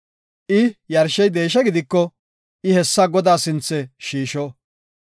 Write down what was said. I yarshey deeshe gidiko I hessa Godaa sinthe shiisho.